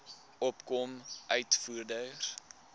opkomende uitvoerders